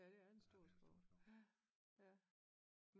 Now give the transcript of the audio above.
Ja det er en stor skov